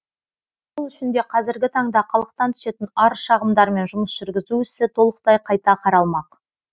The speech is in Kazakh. сол үшін де қазіргі таңда халықтан түсетін арыз шағымдармен жұмыс жүргізу ісі толықтай қайта қаралмақ